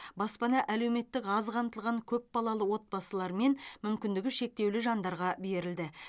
баспана әлеуметтік аз қамтылған көпбалалы отбасылар мен мүмкіндігі шектеулі жандарға берілді